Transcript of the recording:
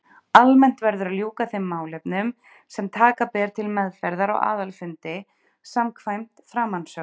Almennt verður að ljúka þeim málefnum sem taka ber til meðferðar á aðalfundi samkvæmt framansögðu.